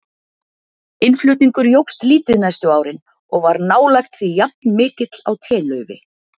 Innflutningur jókst lítið næstu árin og var nálægt því jafnmikill á telaufi.